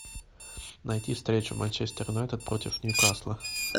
найти встречу манчестер юнайтед против ньюкасла